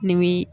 Ni bi